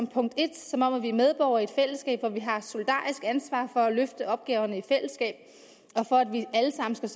punkt en som om at vi er medborgere i et fællesskab i hvilket vi har solidarisk ansvar for at løfte opgaverne i fællesskab og for at vi alle sammen skal